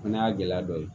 O fana y'a gɛlɛya dɔ ye